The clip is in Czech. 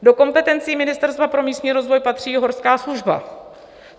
Do kompetencí Ministerstva pro místní rozvoj patří i Horská služba.